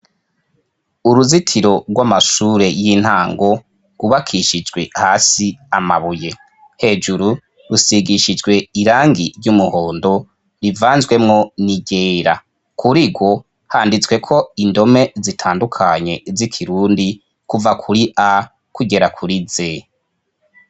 uruzitiro rw'amashure y'intango gubakishijwe hasi amabuye hejuru rusigishijwe irangi ry'umuhondo rivanzwemwo niryera kurigo handitsweko indome zitandukanye z'ikirundi kuva kuri a kugera kuri z